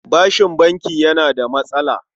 Bashin banki yana da matsala.